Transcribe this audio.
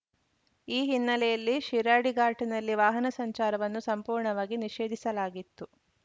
ಈ ಹಿನ್ನೆಲೆಯಲ್ಲಿ ಶಿರಾಡಿಘಾಟ್‌ನಲ್ಲಿ ವಾಹನ ಸಂಚಾರವನ್ನು ಸಂಪೂರ್ಣವಾಗಿ ನಿಷೇಧಿಸಲಾಗಿತ್ತು